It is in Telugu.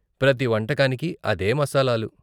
ప్రతి వంటకానికి అదే మసాలాలు.